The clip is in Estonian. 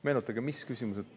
Meenutage, mis küsimused …